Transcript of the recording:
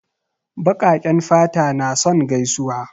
Baƙaƙen fata na son gaisuwa.